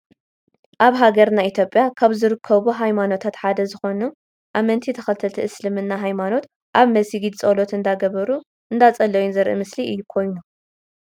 ኣብ ሃገርና ኢትዮጵያ ካብ ዝርከቡ ሃይማኖታት ሓደ ዝኮኑ አመንቲ ተከተልቲ እስልምና ሃይማኖት ኣብ መስጊድ ፆሎት እንዳገበሩ እንዳፀለዩን ዘርኢ ምስሊ ኮይኑ።